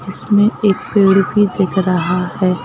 इसमें एक पेड़ भी दिख रहा है।